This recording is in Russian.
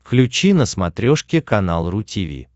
включи на смотрешке канал ру ти ви